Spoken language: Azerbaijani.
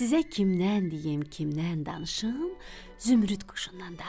Sizə kimdən deyim, kimdən danışım, Zümrüd quşundan danışım.